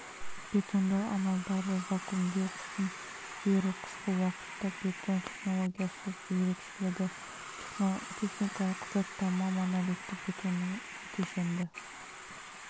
бетондау амалдары вакуумдеу қысым беру қысқы уақытта бетон технологиясы ерекшелігі техникалық құжаттама монолитті бетонның кешенді